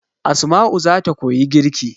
Asma'u zata koyi girki